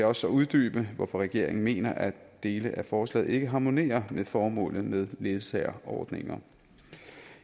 også uddybe hvorfor regeringen mener at dele af forslaget ikke harmonerer med formålet med ledsageordninger